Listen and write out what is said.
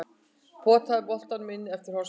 Potaði boltanum inn eftir hornspyrnu.